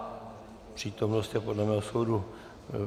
Přítomnost je podle mého soudu...